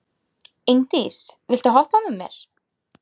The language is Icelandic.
Ingdís, viltu hoppa með mér?